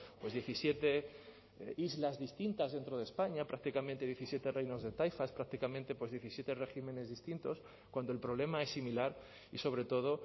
pues diecisiete islas distintas dentro de españa prácticamente diecisiete reinos de taifas prácticamente pues diecisiete regímenes distintos cuando el problema es similar y sobre todo